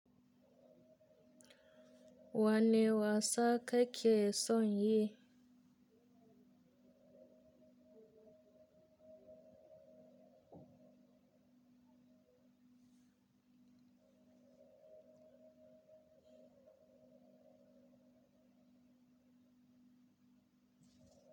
Wanneh wasa kake son yi?